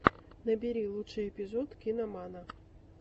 набери лучший эпизод киномана